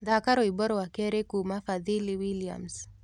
thaka rwĩmbo rwa kerĩ kũma fadhili Williams